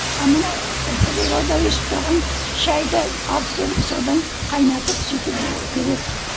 а мына природа өсіп тұрған шайды алып келіп содан қайнатып сөйтіп береді